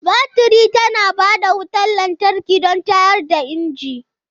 Baturi tana ba da wutar lantarki don tayar da inji.